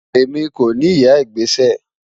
Ẹmi kò ni ìyà igbésẹ́.